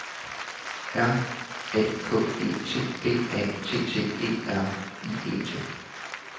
R A K E T B A T T E R I E T